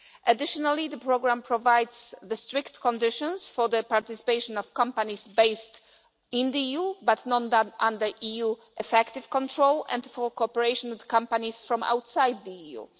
Additionally, the programme provides strict conditions for the participation of companies based in the EU but not under EU effective control, and for cooperation with companies from outside the EU.